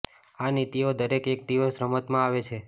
આ નીતિઓ દરેક એક દિવસ રમતમાં આવે છે